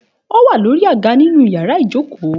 Òwà lòrí àgá nínù yàrá ìjókò.